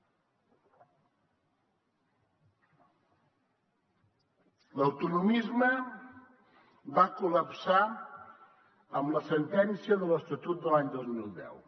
l’autonomisme va col·lapsar amb la sentència de l’estatut de l’any dos mil deu